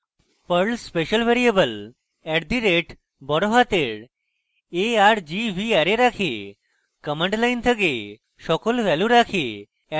perl special variable at the rate বড়হাতের a r g v array রাখে command line থেকে সকল value রাখে